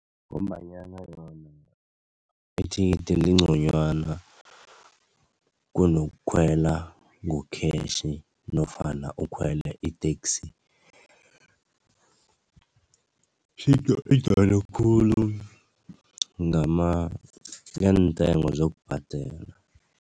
Ngombanyana lona ithikitheli lingconywana kunokukhwela ngokhetjhi nofana ukhwele i-taxi khulu ngeentengo zokubhadela.